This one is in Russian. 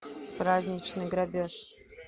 праздничный грабеж